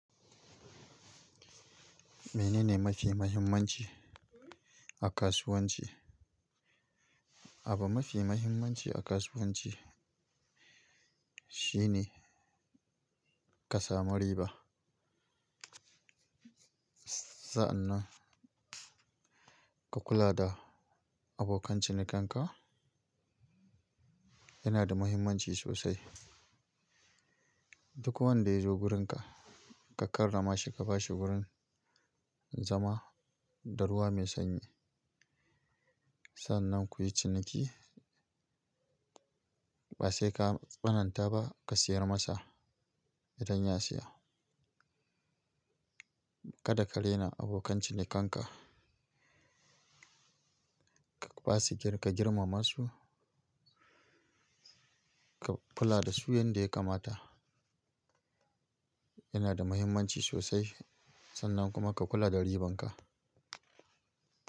Menene mafi muhimmanci a kasuwanci? Abun mafi muhimmanci a kasuwanci shine ka samu riba. Sannan ka kula da abokan cinikanka yana da muhimmanci sosai. Duk wanda ya zo wurinka ka karrama shi, ka ba shi wurin zama da ruwa mai sanyi. Sannan kuyi ciniki. Ba sai ka tsananta ba ka sayar masa idan ya siya. Kada ka raina abokan cinikanka. Ka basu girma, ka girmama su. Ka kula da su yanda ya kamata. Yana da muhimmanci sosai. Sannan kuma ka kula da ribanka.